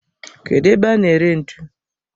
Kedu ebe a na ere ntu?